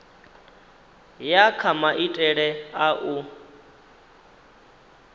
ya kha maitele a u